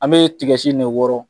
An be tigɛ si in de wɔɔrɔn